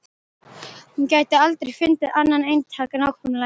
Hún gæti aldrei fundið annað eintak nákvæmlega eins.